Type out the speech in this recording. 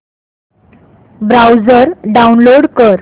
browser download कर